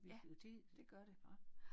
Ja det gør det bare